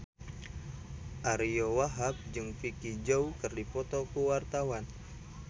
Ariyo Wahab jeung Vicki Zao keur dipoto ku wartawan